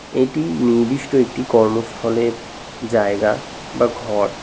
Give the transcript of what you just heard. এটি নির্দিষ্ট একটি কর্মস্থলের জায়গা বা ঘর।